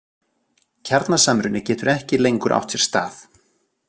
Kjarnasamruni getur ekki lengur átt sér stað.